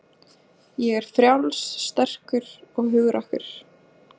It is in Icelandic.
Ég er frjáls, sterkur og hugrakkur.